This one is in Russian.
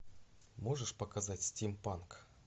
можешь показать стимпанк